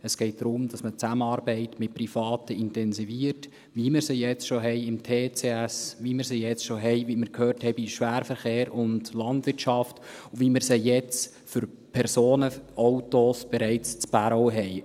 Es geht darum, dass man die Zusammenarbeit mit Privaten intensiviert, wie wir sie jetzt beim TCS schon haben, wie wir sie jetzt – wie wir gehört haben – bei Schwerverkehr und Landwirtschaft schon haben, wie wir sie jetzt für Personenautos in Bärau bereits haben.